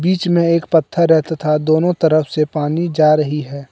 बीच में एक पत्थर है तथा दोनों तरफ से पानी जा रही है।